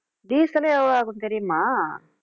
diesel ஏ எவ்வளவு ஆகும் தெரியுமா